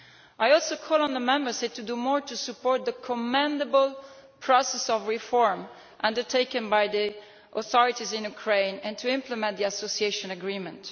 I also call on the Member States to do more to support the commendable process of reform undertaken by the authorities in Ukraine and to implement the Association Agreement.